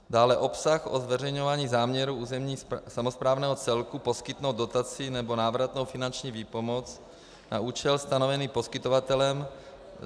Dále obsah o zveřejňování záměru územně samosprávného celku poskytnout dotaci nebo návratnou finanční výpomoc na účel stanovený poskytovatelem.